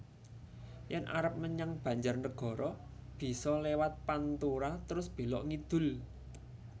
Yen arep menyang Banjarnegara biso lewat pantura trus belok ngidul